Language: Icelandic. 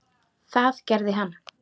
Það gerði hann.